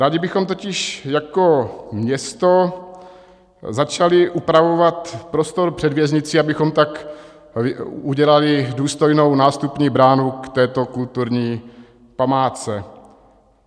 Rádi bychom totiž jako město začali upravovat prostor před věznicí, abychom tak udělali důstojnou nástupní bránu k této kulturní památce.